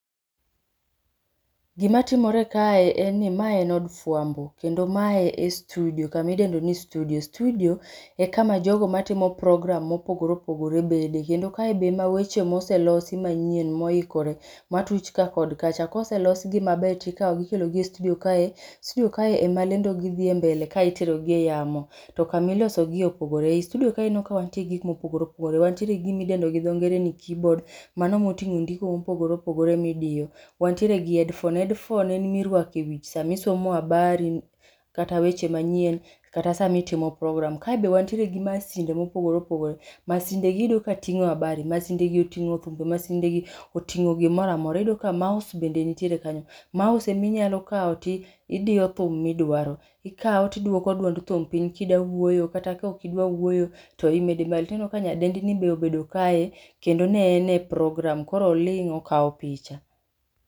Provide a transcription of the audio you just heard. Gima timore kae en ni mae en od fwambo kendo mae e studiyo kami dendo ni studio. Studiyo e kama jogo matimo program mopogopre opogore bede kendo kae be ema weche ma oselosi manyien moikore matuch ka kod kacha. Koselosgi maber tikawogi ikelogi e studiyo kae. Studiyo kae ema lendo gidhi dhi e mbele ka iterogi e yamo to kamilosogie opogore. I studiyo ka aneno ka wantie gi gik mopogore opogore. Wantiere gi gimidendo gi dho ngere ni keyboard mano moting'o ndiko mopogore opogore midiyo, wantiere gi headphone. Headphone en mirwako e wich sama isomo abari kata weche manyien kata samitimo program. Kae be wantiere gi masinde mopogore opogore. Masindegi iyudo ka ting'o abari masindegi oting'o oting'o thumbe, masindegi oting'o gimoro amora. Iyudo ka mouse bende nitiere kanyo. Mouse en minyalo kawo tidiyo thum midwaro ikawo tidwoko duond thum piny kidawuoyo kata kokidwa wuoyo to imede malo. Tineno ka nyadendini be obedo kae kendo ne en e program koro oling' okawo picha.